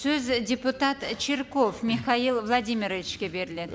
сөз депутат і чирков михаил владимировичке беріледі